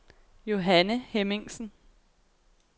Johanne Hemmingsen